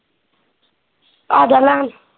ਆਜਾ ਲੈਣ।